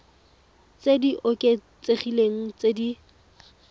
tse di oketsegileng tse di